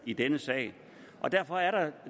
i denne sag derfor er der